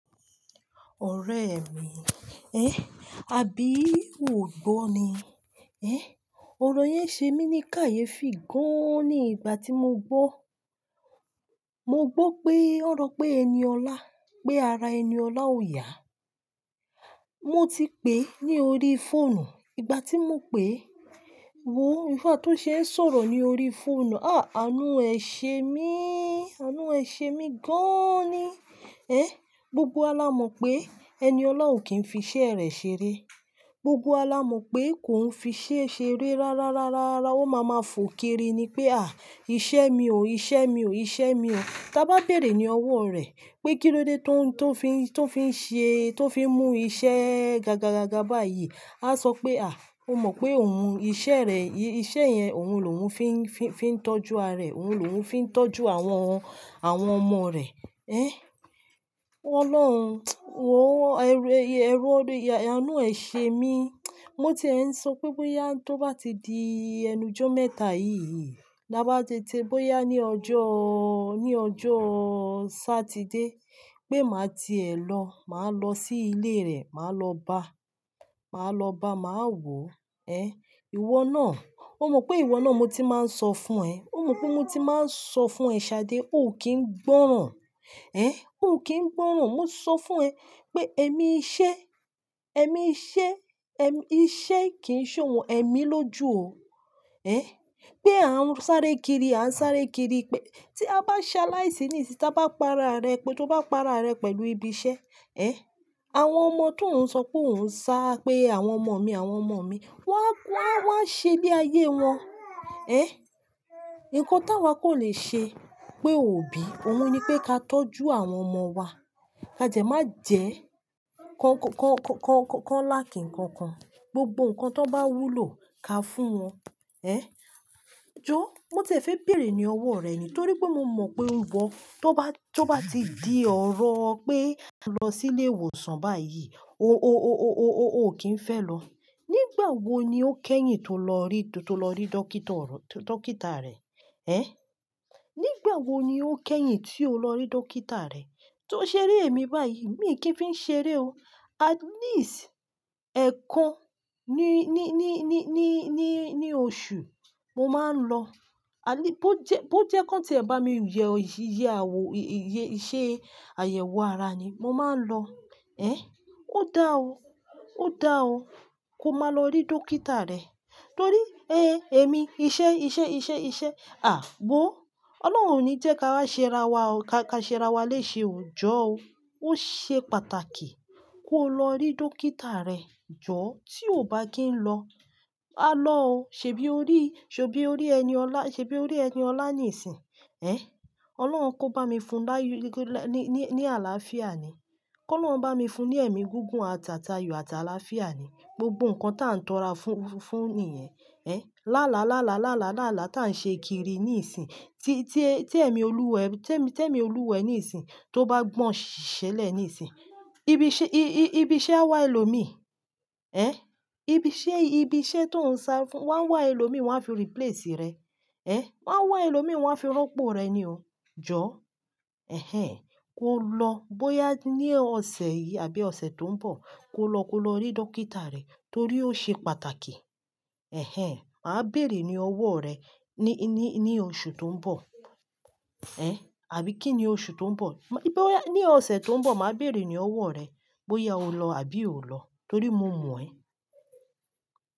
Ọ̀rẹ́ mi, ẹ́, àbí o gbọ́ ni? Ọ̀rọ̀ yẹn ṣe mí ní kàyéfì gan-an ni ìgbà tí mo gbọ́. Mo gbọ́ pé wọ́n sọpẹ ẹni ọlá, pé ara ẹni ọlá ò yá. Mo ti pè é ní orí fóònù. Ìgbà tí mo pè é, wò ó, nígbà tó ṣe ń sọ̀rọ̀ ní orí fóònù, ah, àánú ẹ ṣe mí, àánú ẹ ṣe mí gan-an ni. Gbogbo wa la mọ̀ pé eniola kì í fi iṣẹ́ rẹ̀ ṣeré. Gbogbo wa la mọ̀ pé kò ń fi iṣẹ́ ṣeré rárá, rárá, rárá. Ó máa ma fò kiri ni pé, à, iṣẹ́ mi ò, iṣẹ́ mi ò, iṣẹ́ mi ò. Tá bá bèrè ní ọwọ́ rẹ̀ pé kí ló dé tó ń, tó fi ń, tó fi ń ṣe, tó fi ń mú iṣẹ́ ga, ga, ga, ga, ga, bá yìí, á sọ pé, à, ó mọ̀ pé òun, iṣẹ́ rẹ̀, iṣẹ́ yẹn òun lòun fi ń, fi ń, fi ń tọ́jú ara rẹ̀, òun lòun fi ń tọ́jú àwọn, àwọn ọmọ rẹ̀. Ọlọ́run, wò ó, ẹrú, ẹrú ọdọ, àánú ẹ ṣe mí. Mo ti ẹ̀ ń sọ pé bóyá tó bá ti di ẹnu jọ mẹ́ta yìí, tabá bá ti, bóyá ní ọjọ́, ní ọjọ́ Saturday, pé màá ti è lọ, màá lọ sí ilé rẹ̀, màá lọ bá, màá lọ bá, màá wò ó. Ìwọ náà, ó mọ̀ pé ìwọ náà mo ti máa ń sọ fún ẹ. Ó mọ̀ pé mo ti máa ń sọ fún ẹ, Ṣadé, ò kí ń gbọ́ràn. Ò kí ń gbọ́ràn. Mo sọ fún ẹ pé èmi iṣẹ́, èmi iṣẹ́, èm-- iṣẹ́ kì í ṣe òun, èmi ló jú ò o. Pé à ń sáré kiri, à ń sáré kiri pé tí a bá sa láìsí nísinsìnyí, tí a bá para rẹ pé tó bá para rẹ pẹ̀lú ibi iṣẹ́, àwọn ọmọ tó ń sọ pé ò ń sá, pé àwọn ọmọ mi, àwọn ọmọ mi, wọ́n á, wọ́n á, wọ́n á ṣe bí ayé wọn. Nǹkan tí àwa kò le ṣe pé òbí, òun ni pé ká tọ́jú àwọn ọmọ wa. Ka jẹ má jẹ ki wọn lákìnkankan. Gbogbo nǹkan tó bá wúlò ka fún wọn. Jọ̀ọ́, mo ti fẹ́ bèrè ní ọwọ́ rẹ ni torí pé mo mọ̀ pé o gbọ́. Tó bá, tó bá ti di ọ̀rọ̀ pé a lọ sí ilé ìwòsàn báyìí, o, kì í fẹ́ lọ. Nígbà wo ni o kẹ́yìn tó lọ rí, tó lọ rí dókítà rẹ nígbà wo ni o kẹ́yìn tí o lọ rí dókítà rẹ̀? Tó ṣeré èmi báyìí, mi kì í fi ń ṣeré o. At least ẹ̀ẹ̀kan ní, oṣù, mo máa ń lọ. At least, bó jẹ́, bó jẹ́ kí wọ́n tí ẹ bá mi ṣẹ́ àyẹ̀wò ara ni, mo máa ń lọ. Ó dáa o. Ó dáa o. Ko má lọ rí dókítà rẹ̀ torí èmi, iṣẹ́, iṣẹ́, iṣẹ́, iṣẹ́. Wó. Ọlọ́run ò ní jẹ́ ká wá ṣe ara wa o. Ka, ká ṣe ara wa léṣe o. Jọ̀ọ́ o. Ó ṣe pàtàkì kó lọ rí dókítà rẹ̀. Jọ̀ọ́, tí o ò bá kí ń lọ, a lọ o. Ṣèbí o rí, ṣèbí o rí ẹni ọlá, ṣèbí o rí ẹni ọlá nísinsìnyí? Ọlọ́run kó bá mi fún ní àlàáfíà ni. Kó Ọlọ́run bá mi fún ní ẹ̀mí gígùn, àtàtayò àti àlàáfíà ni. Gbogbo nǹkan tá ń tọ́ra fún, fún ni yen. Láàláàa, tá ń ṣe kiri níìsín, tí, tí ẹ, tí ẹ̀mí Olúwa ẹ, tí ẹ̀mí, tí ẹ̀mí olúwa ẹ níìsín tó bá gbọ̀n ṣẹlẹ̀ níìsín, ibi iṣẹ́, i, i, ibi iṣẹ́ á wá ẹlòmíì. Ibi iṣẹ́, ibi iṣẹ́ tó ń sá fún, wọ́n á wá ẹlòmíì wọ́n á fi replace rẹ. Ẹ́, wọ́n á wá ẹlòmíì wọ́n á fi rọ́pò rẹ ni o. Jọ̀ọ́, kó lọ. Bóyá ní ọ̀sẹ̀ yìí àbí ọ̀sẹ̀ tó ń bọ̀, kó lọ, kó lọ rí dókítà rẹ̀ torí ó ṣe pàtàkì. Ẹ̀hen, màá bèrè ní ọwọ́ rẹ ní, ní, ní oṣù tó ń bọ̀. Àbí kí ni oṣù tó ń bọ̀? Bí ó yá, ní ọ̀sẹ̀ tó ń bọ̀, màá bèrè ní ọwọ́ rẹ bóyá o lọ àbí ò lọ torí mo mọ̀ ẹ́.